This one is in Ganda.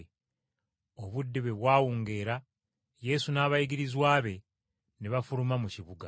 Obudde bwe bwawungeera Yesu n’abayigirizwa be ne bafuluma mu kibuga.